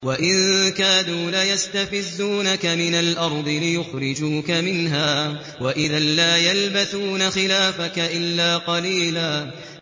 وَإِن كَادُوا لَيَسْتَفِزُّونَكَ مِنَ الْأَرْضِ لِيُخْرِجُوكَ مِنْهَا ۖ وَإِذًا لَّا يَلْبَثُونَ خِلَافَكَ إِلَّا قَلِيلًا